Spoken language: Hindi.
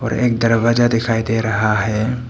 और एक दरवाजा दिखाई दे रहा है।